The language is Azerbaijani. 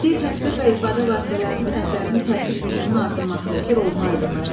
Bədii təsvir və ifadə vasitələrinin əsərinin təsir gücünün artırmasındakı rolunu aydınlaşdırın.